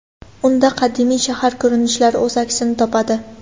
Unda qadimiy shahar ko‘rinishlari o‘z aksini topadi.